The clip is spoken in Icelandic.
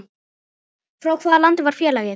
Frá hvaða landi var félagið?